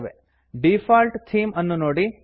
default theme default theme ಅನ್ನುನೋಡಿ